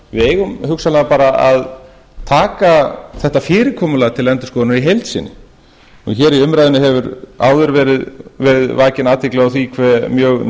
við eigum hugsanlega bara að taka þetta fyrirkomulag til endurskoðunar í heild sinni hér í umræðunni hefur áður verið vakin athygli á því hve mjög